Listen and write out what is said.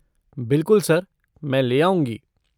बिलकुल सर! मैं ले आऊँगी।